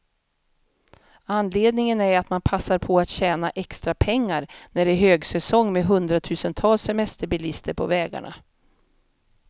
Anledningen är att man passar på att tjäna extra pengar, när det är högsäsong med hundratusentals semesterbilister på vägarna.